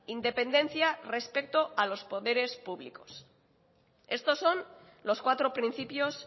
independencia respecto a los poderes públicos estos son los cuatro principios